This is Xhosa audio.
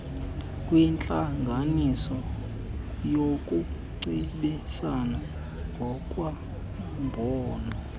kwentlanganiso yokucebisana ngokwembono